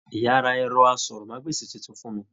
Ìyá rà ẹrọ àsọ̀rọ̀mágbèsi títún fún mí.